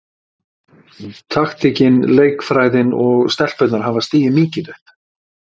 Taktíkin, leikfræðin og stelpurnar hafa stigið mikið upp.